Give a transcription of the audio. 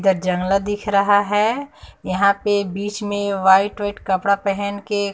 इधर जांगला दिख रहा है यहां पे बीच में व्हाइट वाइट कपड़ा पहन के--